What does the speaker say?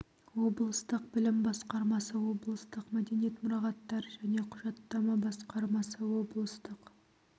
облыстық білім басқармасы облыстық мәдениет мұрағаттар және құжаттама басқармасы облыстық